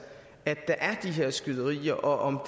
at der er her skyderier og om